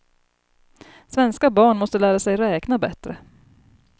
Svenska barn måste lära sig räkna bättre.